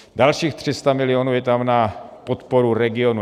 Dalších 300 milionů je tam na podporu regionů.